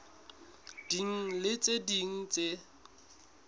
ding le tse ding tse